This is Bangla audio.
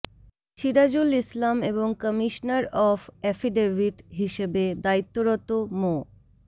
সিরাজুল ইসলাম এবং কমিশনার অব এফিডেভিট হিসেবে দায়িত্বরত মো